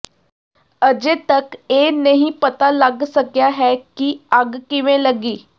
ਅਜੇ ਤੱਕ ਇਹ ਨਹੀਂ ਪਤਾ ਲੱਗ ਸਕਿਆ ਹੈ ਕਿ ਅੱਗ ਕਿਵੇਂ ਲੱਗੀ